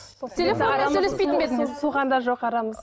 телефонмен сөйлеспейтін бе едіңіз суыған да жоқ арамыз